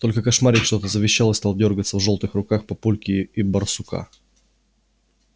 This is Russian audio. только кошмарик что-то завещал и стал дёргаться в жёлтых руках папульки и барсука